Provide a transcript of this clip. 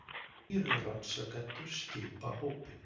Þrír rannsakendur skipa hópinn